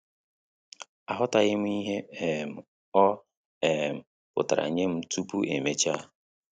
Aghọtaghịm ihe um ọ um pụtara nyem tupu emecha